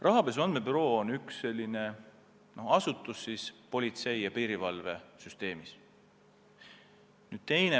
Rahapesu andmebüroo on politsei- ja piirivalvesüsteemis üks allasutusi.